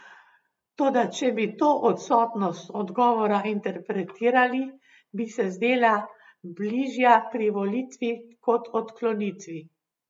Toda če bi to odsotnost odgovora interpretirali, bi se zdela bližja privolitvi kot odklonitvi.